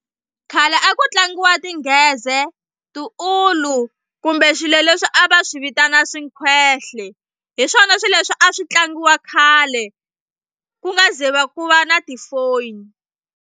Khale a ku tlangiwa tingheze tiulu kumbe swilo leswi a va swi vitana swinkhwehle hi swona swilo leswi a swi tlangiwa khale ku nga ze va ku va na ti-phone.